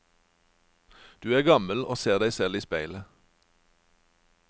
Du er gammel og ser deg selv i speilet.